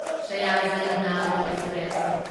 Sayaji Nagari express